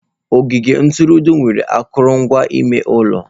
Ogige ntụrụndụ nwere akụrụngwa ime ụlọ.